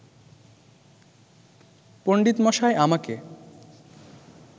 পণ্ডিতমশাই আমাকে